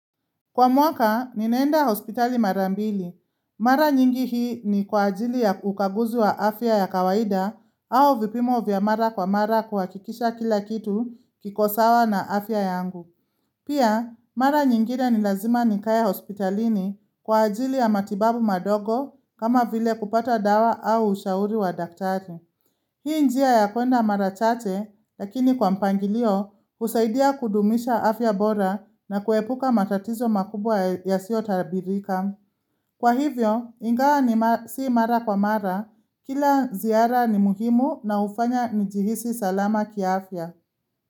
Kwa mwaka, ninaenda hospitali mara mbili. Mara nyingi hii ni kwa ajili ya ukaguzi wa afya ya kawaida au vipimo vya mara kwa mara kuhakikisha kila kitu kiko sawa na afya yangu. Pia, mara nyingine ni lazima nikae hospitalini kwa ajili ya matibabu madogo kama vile kupata dawa au ushauri wa daktari. Hii njia ya kuenda mara chache, lakini kwa mpangilio, husaidia kudumisha afya bora na kuepuka matatizo makubwa yasiyotabirika. Kwa hivyo, ingaa si mara kwa mara, kila ziara ni muhimu na hufanya nijihisi salama kiafya.